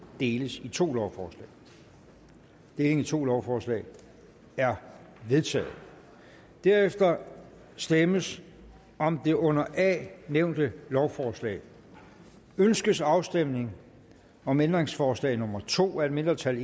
deles i to lovforslag deling i to lovforslag er vedtaget derefter stemmes om det under a nævnte lovforslag ønskes afstemning om ændringsforslag nummer to af et mindretal